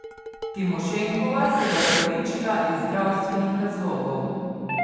Timošenkova se je opravičila iz zdravstvenih razlogov.